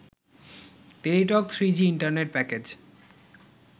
Teletalk three G internet package